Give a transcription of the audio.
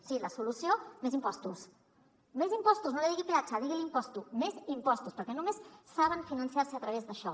sí la solució més impostos més impostos no en digui peatge diguin ne impostos més impostos perquè només saben finançar se a través d’això